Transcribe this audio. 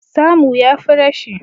Samu ya fi rashi